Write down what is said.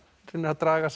reynir að draga